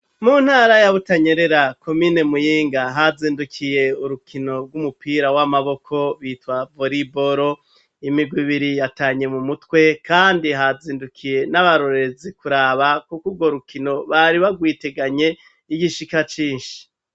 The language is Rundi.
Mu ntara ya Butanyerera komine Muyinga, hazindukiye urukino rw'umupira w'amaboko bitwa voriboro, imigwi ibiri yatanye mu mutwe kandi hazindukiye n'abarorezi kuraba, kuko urwo rukino bari bagwiteganye igishika cinshi.